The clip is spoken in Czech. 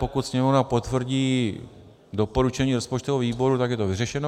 Pokud Sněmovna potvrdí doporučení rozpočtového výboru, tak je to vyřešeno.